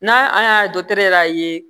N'a a y'a yɛrɛ y'a ye